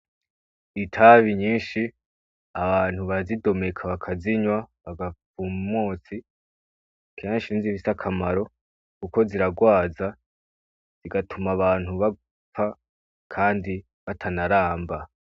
Itabi nyinshi abantu bazidomeka bakazinywa bagafa mmotsi kanshi nzibis akamaro, kuko ziragwaza zigatuma abantu bapfa, kandi batanaramba.